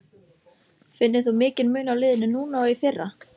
Finnur þú mikinn mun á liðinu núna og í fyrra?